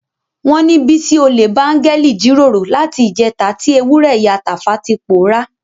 Wọ́n ní Bísí olè bá áńgẹ́lì jíròrò láti ìjẹta tí ewúrẹ́ ìyá Tàfá ti pòórá.